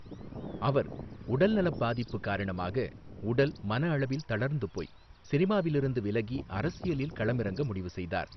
அவர் உடல்நலப் பாதிப்பு காரணமாக உடல், மன அளவில் தளர்ந்துபோய், சினிமாவிலிருந்து விலகி அரசியலில் களமிறங்க முடிவுசெய்தார்.